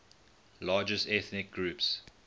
largest ethnic groups